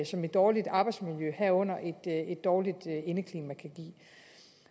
som et dårligt arbejdsmiljø herunder et dårligt indeklima kan give